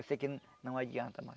Eu sei que não adianta mais.